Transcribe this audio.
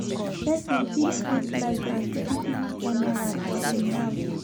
Persin fit put lights and CCTV camera for im house